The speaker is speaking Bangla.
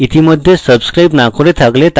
ইতিমধ্যে subscribe না করে থাকলে তা করুন